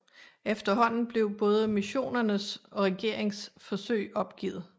Efterhånden blev både missionernes og regerings forsøg opgivet